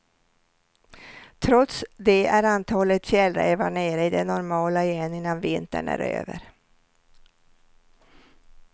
Trots det är antalet fjällrävar nere i det normala igen innan vintern är över.